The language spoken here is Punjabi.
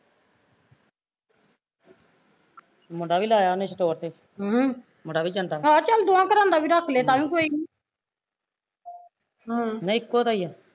ਮੁੰਡਾ ਵੀ ਲਾਇਆ ਉਹਨੇ store ਤੇ ਮੁੰਡਾ ਵੀ ਜਾਂਦਾ ਨਹੀਂ ਇੱਕੋ ਦਾ ਐ